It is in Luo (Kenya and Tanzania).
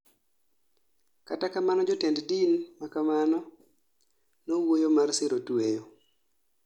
Kata kamano jotend din makamano nowuoyo mar siro tweyo